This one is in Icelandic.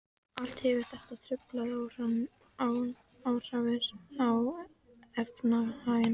Allt hefur þetta truflandi áhrif á efnahaginn.